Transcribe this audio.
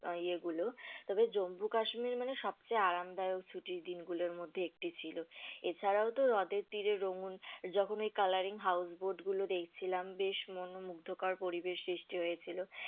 আহ ইয়ে গুলো, তবে জম্বু কাশ্মীর মানে সবচেয়ে আরামদায়ক ছুটির দিনগুলোর মধ্যে একটি ছিল, এছাড়াও তো হ্রদের তীরে রোমুন যখন ওই colouring house boat গুলো দেখছিলাম বেশ মনমুগ্ধকর পরিবেশ সৃষ্টি হয়েছিল।